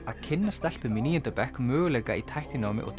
að kynna stelpum í níunda bekk möguleika í tækninámi og